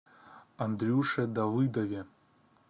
андрюше давыдове